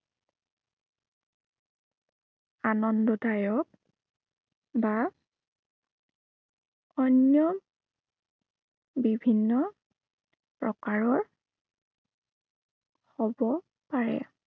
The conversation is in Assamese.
আনন্দদায়ক বা অন্য় বিভিন্ন প্ৰকাৰৰ হব পাৰে।